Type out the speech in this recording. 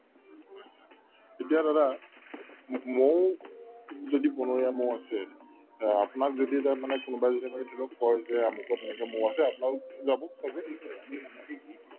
এতিয়া ধৰা ম‍ মৌ যদি বনৰীয়া মৌ আ আপোনাক যদি ধৰক মানে কোনোবাই যদি এনেকে ধৰি লওক কই যে তেনেকে মৌ আছে আপোনালোক যাব